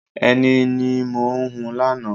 Ẹni ní mo hun lánàá.